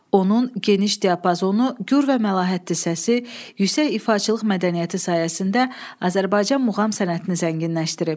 Onun geniş diapazonu, gür və məlahətli səsi, yüksək ifaçılıq mədəniyyəti sayəsində Azərbaycan muğam sənətini zənginləşdirib.